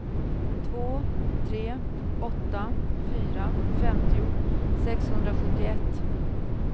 två tre åtta fyra femtio sexhundrasjuttioett